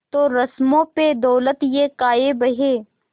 तो रस्मों पे दौलत ये काहे बहे